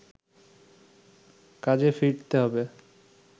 কাজে ফিরতে হবে